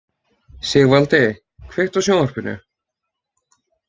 Sigvaldi, kveiktu á sjónvarpinu.